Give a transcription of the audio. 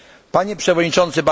Panie przewodniczący!